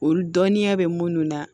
Olu dɔnniya bɛ munnu na